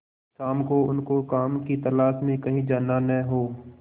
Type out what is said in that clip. शाम को उनको काम की तलाश में कहीं जाना न हो